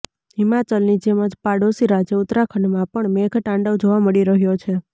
હિમાચલની જેમ જ પાડોશી રાજ્ય ઉત્તરાખંડમાં પણ મેઘ તાંડવ જોવા મળી રહ્યો છે